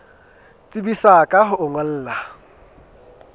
tsebisa ka ho o ngolla